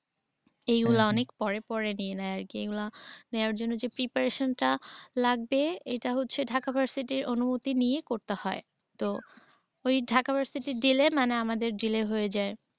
এইগুলা অনেক পরে পরে নিয়ে নেয় আর কি। এইগুলা নেওয়ার জন্য যে preparation টা লাগবে এইটা হচ্ছে ঢাকা ভার্সিটির অনুমতি নিয়ে করতে হয়। তো ঐ ঢাকা ভার্সিটির delay মানে আমাদের delay হয়ে যায়।